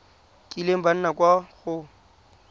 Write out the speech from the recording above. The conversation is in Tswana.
kileng ba nna kwa go